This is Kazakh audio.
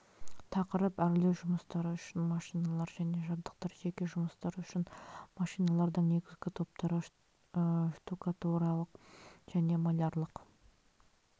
тақырып әрлеу жұмыстары үшін машиналар және жабдықтар жеке жұмыстар үшін машиналардың негізгі топтары штукатуралық және малярлық